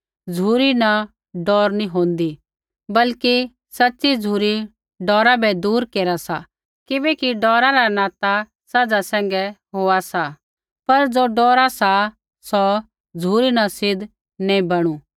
झ़ुरी न डौर नैंई होन्दी बल्कि सच़ी झ़ुरी डौरा बै दूर केरा सा किबैकि डौरा रा नाता सज़ा सैंघै होआ सा पर ज़ो डौरा सा सौ झ़ुरी न सिद्ध नैंई बणु